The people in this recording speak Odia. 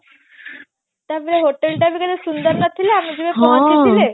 ତାପରେ hotel ଟା ବି କେତେ ସୁନ୍ଦର ନଥିଲା ଆମେ ଯୋଉଟା ପହଞ୍ଚିଥିଲେ